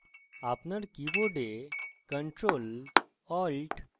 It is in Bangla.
আপনার কীবোর্ড ctrl alt এবং t